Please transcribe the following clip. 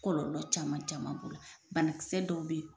Kɔlɔlɔ caman caman bana kisɛ dɔw be ye